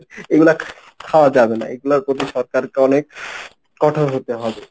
এগুলা খাওয়া যাবে না এগুলার প্রতি সরকারকে অনেক কঠোর হতে হবে।